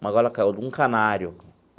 Uma gaiola caiu com um canário.